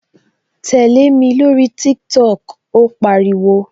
Tẹlẹ mi lórí TikTok "ó pariwo